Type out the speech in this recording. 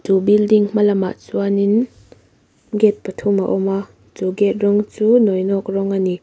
chu building hma lamah chuan in gate pathum a awma chu gate rawng chu nawinawk rawng a ni.